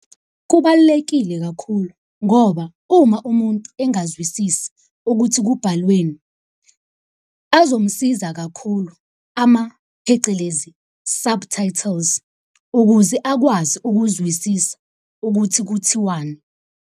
Kubalulekile kakhulu ngoba uma umuntu engazwisisi ukuthi kubhalweni, azomsiza kakhulu phecelezi, subtitles. Ukuze akwazi ukuzwisisa ukuthi kuthiwani.